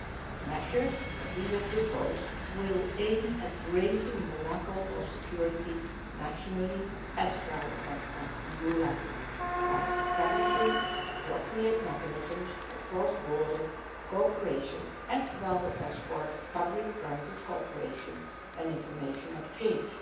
The measures that we will propose will aim at raising levels of security nationally as well as at EU level, by establishing appropriate mechanisms for cross border cooperation as well as for public private cooperation and information exchange.